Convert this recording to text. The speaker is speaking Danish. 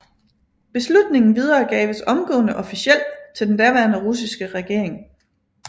Beslutningen videregaves omgående officielt til den daværende russiske regering